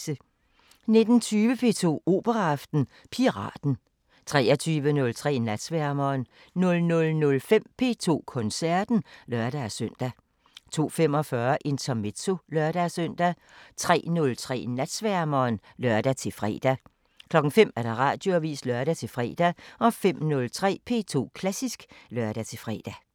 19:20: P2 Operaaften: Piraten 23:03: Natsværmeren 00:05: P2 Koncerten (lør-søn) 02:45: Intermezzo (lør-søn) 03:03: Natsværmeren (lør-fre) 05:00: Radioavisen (lør-fre) 05:03: P2 Klassisk (lør-fre)